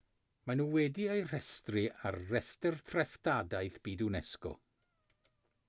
maen nhw wedi eu rhestru ar restr treftadaeth byd unesco